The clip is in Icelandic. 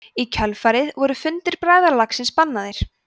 í kjölfarið voru fundir bræðralagsins bannaðir